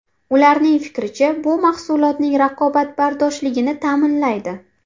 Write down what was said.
Ularning fikricha, bu mahsulotning raqobatbardoshligini ta’minlaydi.